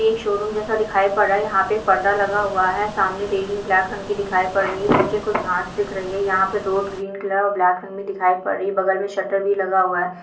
एक शोरूम जैसा दिखाई पड़ रहा है यहाँ पे एक पर्दा लगा हुआ है सामने रेलिंग ब्लैक कलर की दिखाई दे रही है नीचे कुछ घास दिख रही है यहाँ पे रोड ग्रीन कलर और ब्लैक रंग में दिखाई पड़ रही है बगल में शटर भी लगा हुआ है।